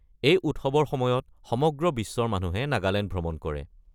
এই উৎসৱৰ সময়ত সমগ্ৰ বিশ্বৰ মানুহে নাগালেণ্ড ভ্ৰমণ কৰে।